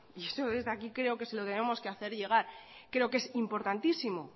y eso desde aquí creo que se lo tenemos que hacer llegar creo que es importantísimo